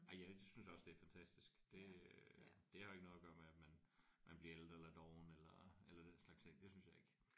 Ej jeg synes også det er fantastisk det øh det har jo ikke noget at gøre med man bliver ældre eller doven eller eller den slags ting det synes jeg ikke